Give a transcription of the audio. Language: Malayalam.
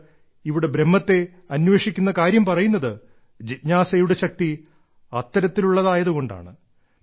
അതുകൊണ്ട് ഇവിടെ ബ്രഹ്മത്തെ അന്വേഷിക്കുന്ന കാര്യം പറയുന്നത് ജിജ്ഞാസയുടെ ശക്തി അത്തരത്തിലുള്ളതായതു കൊണ്ടാണ്